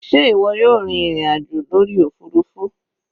Sé ìwọ yóò rin ìrìn àjò lórí òfurufú?